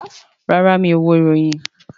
Rárá, mi ò wo ìròyìn